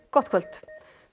gott kvöld